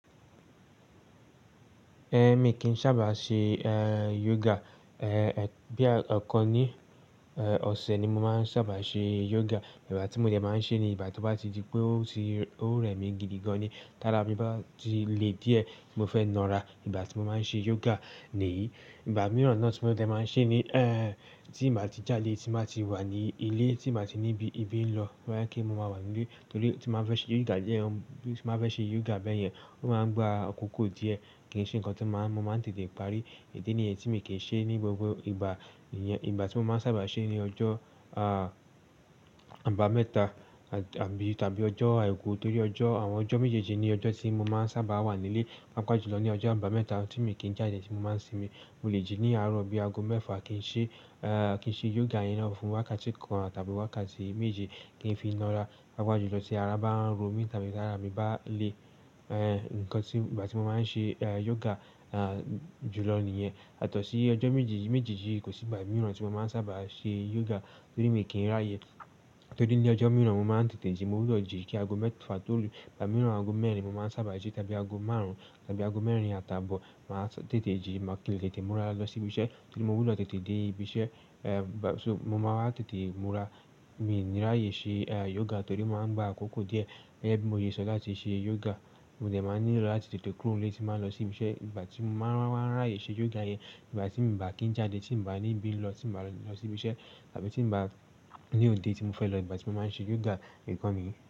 Ẹ̀, mi kì n sábà ṣe, ẹ́, yoga. Ẹ̀, bóyá ẹ̀kan ní, ẹ́, ọ̀sẹ̀ ni mo máa ń sábà ṣe yoga. Ìgbà tí mo dẹ̀ máa ń ṣe ni ìgbà tó bá ti di pé ó ti, ó rẹ mi gidi gan ni. Tára mi bá ti le díẹ̀, mo fẹ́ nọ ra. Ìgbà tí mo máa ń ṣe yoga nìyí. Ìgbà mìíràn náà tí mo dẹ̀ máa ń ṣe ni, ẹ́, tí mà ti jáde, tí mà ti wà ní ilé, tí mà ti níbi ìbí lọ, tó bá jẹ́ pemo máa wà nílé torí tí mà bá fẹ́ ṣe yoga díẹ̀, tí màá fẹ́ ṣe yoga bẹ́yẹn, ó máa ń gba àkókò díẹ̀ kí n ṣe nǹkan tí màá, mo máa ń tètè parí. Ìdí nìyí tí mi kì í ṣe ní gbogbo ìgbà. Ìyẹn ìgbà tí mo máa ń sábà ṣe ni ọjọ́, aah, àbámẹ́ta àt-- tàbí, tàbí ọjọ́ àìkú torí ọjọ́, àwọn ọjọ́ méjèèjì ni ọjọ́ tí mo máa ń sábà wà nílé. Papájùlọ ní ọjọ́ àbámẹ́ta tí mi kì í jáde tí mo máa ń sinmi. Mo lè jí ní àárọ̀ bí aago mẹ́fà kí n ṣe, ẹ́, kí n ṣe yoga yẹn náà fún wákàtí kan tàbí wákàtí méje kí n fi nọ ra. Paapajulọ tí ara bá ń ro mí tàbí ti ara mi bá le ẹ́. Nǹkan tí, ìgbà tí mo máa ń ṣe yoga julọ nìyẹn. Yatọ̀sí ọjọ́ méjì yí, méjèèjì yí kò sì ìgbà mìíràn tí mo máa ń sábà ṣe yoga torí mi kì í ráàyè. Torí ní ọjọ́ mìíràn mo máa ń tètè jí, mo gbudọ jìí kí aago mẹ́fà tolu ìgbà mìíràn aago mẹ́rin mo máa ń sábà jí tàbí aago márùn-ún tàbí aago mẹ́rin àtàbọ̀ màá tètè jí, màá, kí n lè tètè múra lọ sí ibi iṣẹ́ torí mo gbudọ tètè dé ibi iṣẹ́. Ẹ̀, bà-- so mo máa wa tètè múra. Mi ní ráàyè ṣe, ẹ́, yoga torí màá ń gba àkókò díẹ̀. Gẹgẹ́bi mo yé sọ láti ṣe yoga, mo dẹ̀ máa ń nílò láti tètè kúrò nílé tí màá lọ sí ibi iṣẹ́. Ìgbà tí mo máa ń ráàyè ṣe yoga yẹn, ìgbà tí mo bà kí ń jáde, tí mò bá níbi ń lọ, tí mò bá lọ sí ibi iṣẹ́ tàbí tí n bá ní òde tí mo fẹ́ lọ ìgbà tí mo máa ń ṣe yoga, nìkan nìyẹn.